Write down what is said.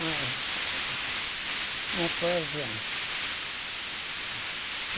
Mas não foi adiante.